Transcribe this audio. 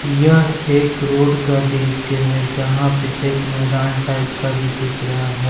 यह एक रोड का दृश्य है जहां पे एक मैदान टाइप का दिख रहा है।